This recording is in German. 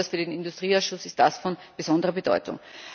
Besonders für den Industrieausschuss ist das von besonderer Bedeutung.